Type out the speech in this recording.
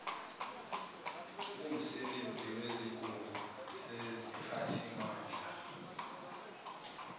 kumsebenzi wesigungu seziphathimanda